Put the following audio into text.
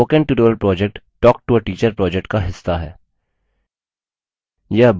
spoken tutorial project talktoateacher project का हिस्सा है